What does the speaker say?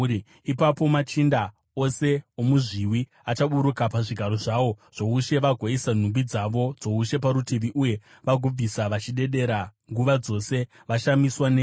Ipapo machinda ose omuzviwi achaburuka pazvigaro zvawo zvoushe vagoisa nhumbi dzavo dzoushe parutivi uye vagobvisa vachidedera nguva dzose, vashamiswa newe.